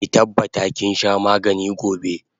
Ki tabbata kinsha magani gobe!